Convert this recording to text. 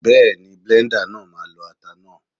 Bẹ́ẹ̀ni, bléńdà náà ma lọ ata náà.